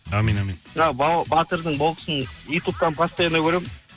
әумин әумин ия батырдың боксын ютубтан постоянно көремін